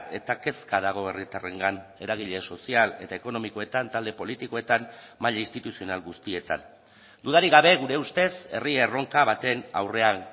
eta kezka dago herritarrengan eragile sozial eta ekonomikoetan talde politikoetan maila instituzional guztietan dudarik gabe gure ustez herri erronka baten aurrean